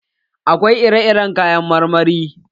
Akwai ire iren kayan marmari.